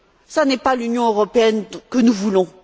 Ce n'est pas l'Union européenne que nous voulons.